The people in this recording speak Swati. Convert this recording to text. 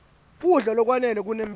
kudla lokwanele kunemphilo